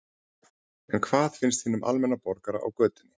En hvað finnst hinum almenna borgara á götunni?